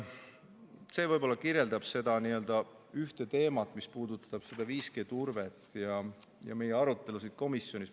See võib olla kirjeldab seda ühte teemat, mis puudutab 5G turvet ja meie arutelusid komisjonis.